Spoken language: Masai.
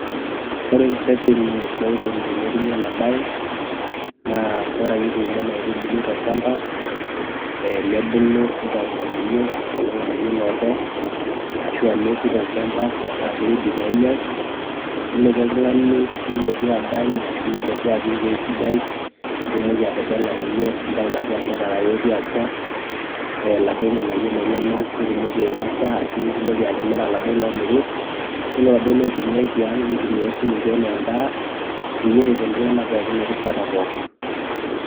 Ore reteni loikuni tenetumi ena baye naa ore ake ituuno ena aitubului tolchamba ee nebulu nitayu irng'anayio enkolong' nayiu iloodo ashu aa neeku tolchamba metaa ke ready pee enyai nilotu oltung'ani nilotu adany ashu nilotu apik ewuei sidai nitumoki atebela ninye nintayu laduo anterera lotii atua ee laduo ng'anayio lenyenak nitumoki ainosa ashu nitumoki atimira laduo loomiri, iyiolo laduo loi tumia i tiang' ni tumia[csi sininje enee endaa peyie eret iltung'anak pookin erishata pookin.